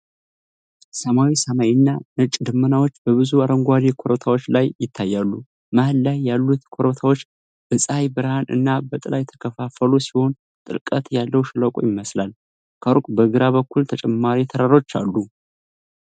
ሰማያዊ ሰማይ እና ነጭ ደመናዎች በብዙ አረንጓዴ ኮረብታዎች ላይ ይታያሉ። መሃል ላይ ያሉት ኮረብታዎች በፀሐይ ብርሃን እና በጥላ የተከፋፈሉ ሲሆን ጥልቀት ያለው ሸለቆ ይመስላል። ከሩቅ በግራ በኩል ተጨማሪ ተራራዎች አሉ።